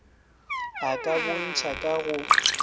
a ka bontšha ka go